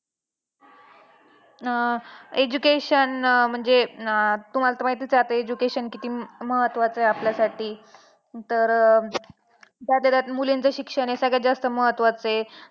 "आह education अं म्हणजे अं तुम्हाला तर माहितीच आहे अब education किती महत्वाच आहे आपल्यासाठी तर अं त्यातल्या त्यात मूलींच शिक्षण हे जास्त महत्वाचं आहे. "